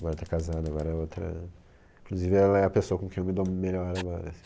Agora tá casada, agora é outra... Inclusive ela é a pessoa com quem eu me dou melhor agora, assim.